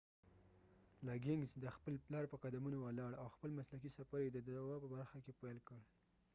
لګنګز د خپل پلار په قدمونو ولاړ او خپل مسلکی سفر یی د دوا په برخه کی پیل کړ